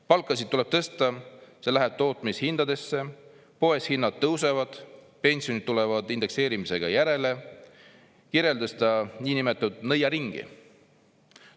"Palkasid tuleb tõsta, see läheb tootmishindadesse, poes hinnad tõusevad, pensionid tulevad indekseerimisega järele," kirjeldas ta niinimetatud nõiaringi.